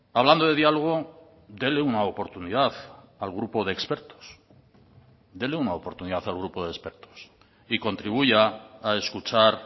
hablando de diálogo dele una oportunidad al grupo de expertos dele una oportunidad al grupo de expertos y contribuya a escuchar